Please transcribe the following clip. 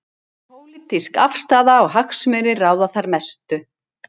Pólitísk afstaða og hagsmunir ráða þar mestu.